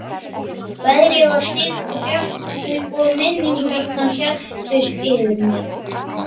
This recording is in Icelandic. Veðrið var stillt og bjart og minningarnar helltust yfir mig.